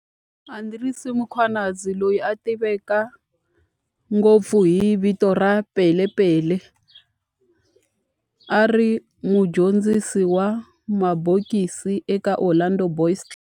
Andries Mkhwanazi, loyi a tiveka ngopfu hi vito ra Pele Pele, a ri mudyondzisi wa mabokisi eka Orlando Boys Club.